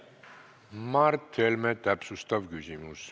Mart Helme, täpsustav küsimus.